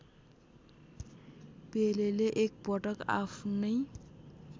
पेलेले एकपटक आफ्नै